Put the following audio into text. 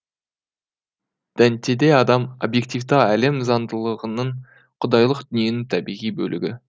дантеде адам обьективті әлем заңдылығының құдайлық дүниенің табиғи бөлігі